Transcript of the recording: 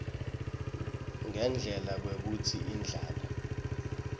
ngendlela kwekutsi indlala